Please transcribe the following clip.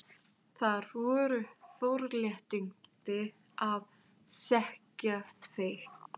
Það voru forréttindi að þekkja þig.